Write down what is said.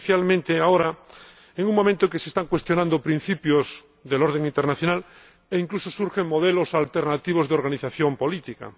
Especialmente ahora, en un momento en el que se están cuestionando principios del orden internacional e incluso surgen modelos alternativos de organización política.